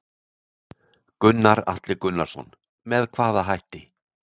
Gunnar Atli Gunnarsson: Með hvaða hætti?